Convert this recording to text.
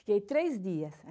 Fiquei três dias.